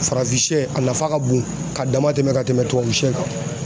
Farafinsɛ a nafa ka bon ka dama tɛmɛ ka tɛmɛ tubabusɛ kan